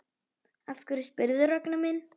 Af hverju spyrðu, Ragnar minn?